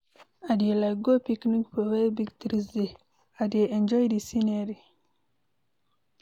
I dey like go picnic for where big trees dey, I dey enjoy de scenery.